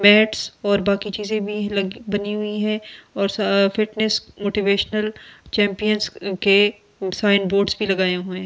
Bed और बाकि चीज़े भी लगी बनी हुई है और सा फिटनेस मोटिवेशनल चैंपियन के साइन बोर्ड भी लगवाए हुए है।